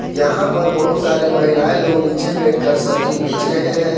यहां पर बहुत सारे महिलाएं लोग नीचे बैठकर सब्जी बेच रहे हैं।